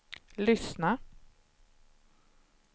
lyssna